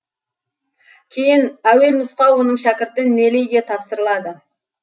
кейін әуелнұсқа оның шәкірті нелейге тапсырылады